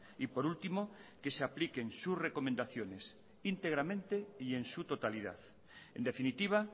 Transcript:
y por último que se apliquen sus recomendaciones íntegramente y en su totalidad en definitiva